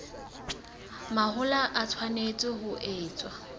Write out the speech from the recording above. mahola e tshwanetse ho etswa